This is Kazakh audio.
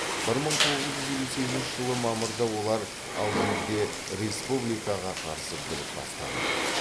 бір мың тоғыз жүз елу сегізінші жылы мамырда олар алжирде республикаға қарсы бүлік бастады